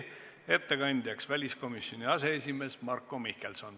Ettekandja on väliskomisjoni aseesimees Marko Mihkelson.